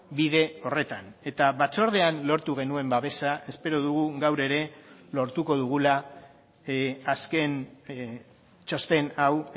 bide horretan eta batzordean lortu genuen babesa espero dugu gaur ere lortuko dugula azken txosten hau